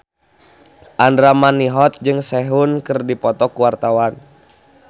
Andra Manihot jeung Sehun keur dipoto ku wartawan